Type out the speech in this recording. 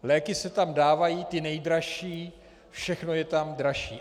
Léky se tam dávají ty nejdražší, všechno je tam dražší.